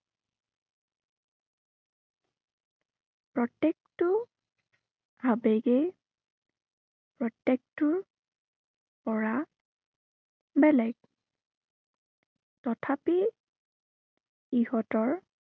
প্ৰত্য়েকটো, আবেগেই প্ৰত্য়েকটোৰ পৰা বেলেগ। তথাপি ইহঁতৰ